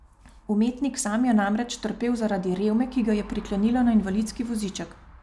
Umetnik sam je namreč trpel zaradi revme, ki ga je priklenila na invalidski voziček.